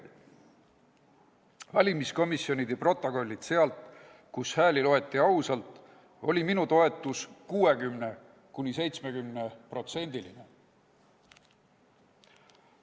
Nende valimiskomisjonide protokollides, kus hääli loeti ausalt, oli minu toetus 60–70%.